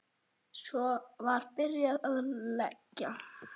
Svo var byrjað að leggja.